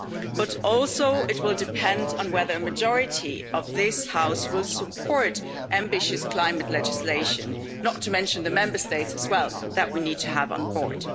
But also it will depend on whether a majority of this House will support ambitious climate legislation, not to mention the Member States as well, which we need to have on board.